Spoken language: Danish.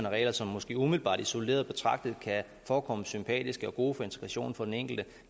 regler som måske umiddelbart isoleret betragtet kan forekomme sympatiske og gode for integrationen for den enkelte